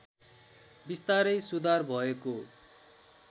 बिस्तारै सुधार भएको